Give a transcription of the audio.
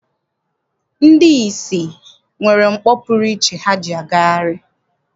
Ndị ìsì nwere mkpọ pụrụ iche ha ji agagharị.